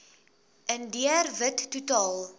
indiër wit totaal